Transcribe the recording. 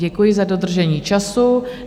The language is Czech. Děkuji za dodržení času.